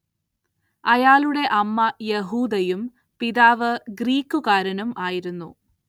അയാളുടെ അമ്മ യഹൂദയും പിതാവ് ഗ്രീക്കുകാരനും ആയിരുന്നു.